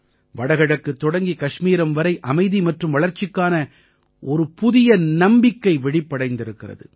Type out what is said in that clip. வடகிழக்கு தொடங்கி கஷ்மீரம் வரை அமைதி மற்றும் வளர்ச்சிக்கான ஒரு புதிய நம்பிக்கை விழிப்படைந்திருக்கிறது